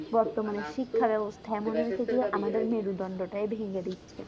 বর্তমানের শিক্ষা ব্যবস্থা এমন হয়েছে যে আমাদের মেরুদণ্ড টাই ভেঙে দিচ্ছে